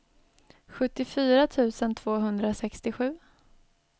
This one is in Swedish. sjuttiofyra tusen tvåhundrasextiosju